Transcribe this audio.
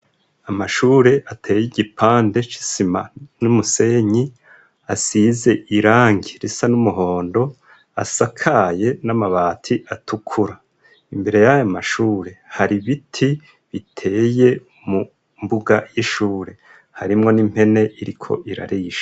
Amashure ateye igipande c'isima n'umusenyi, asize irangi risa n'umuhondo, asakaye n'amabati atukura, imbere y'ayo mashure hari ibiti biteye, mu mbuga y'ishure harimwo n'impene iriko irarisha.